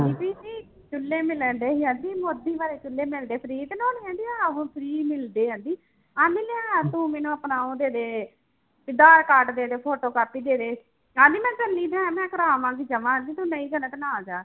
ਚੁੱਲੇ ਮਿਲਣਡੇ ਸੀ ਕਹਿੰਦੀ ਮੋਦੀ ਵਾਲੇ ਚੁੱਲੇ ਮਿਲਦੇ free ਤੇ ਨੋਣੀ ਕਹਿੰਦੀ ਆਹੋ free ਮਿਲਦੇ ਆ ਜੀ, ਕਹਿੰਦੀ ਲਿਆ ਤੂੰ ਮੈਨੂੰ ਆਪਣਾ ਉਹ ਦੇ ਦੇ ਵੀ ਆਧਾਰ ਕਾਰਡ ਦੇ photocopy ਦੇ ਦੇ ਕਹਿੰਦੀ ਮੈਂ ਚੱਲੀ ਤਾਂ ਹੈ ਮੈਂ ਕਰਵਾ ਆਵਾਂਗੀ ਜਮਾ ਕਹਿੰਦੀ ਤੂੰ ਨਹੀਂ ਜਾਣਾ ਤਾਂ ਨਾ ਜਾ।